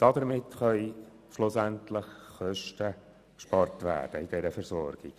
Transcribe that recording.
Damit können schlussendlich bei der Versorgung Kosten gespart werden.